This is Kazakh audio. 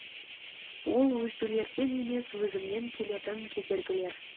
ол өзгелерден емес өзімнен келетін кедергілер